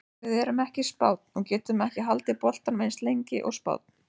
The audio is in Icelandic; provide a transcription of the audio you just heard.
Við erum ekki Spánn og getum ekki haldið boltanum eins lengi og Spánn.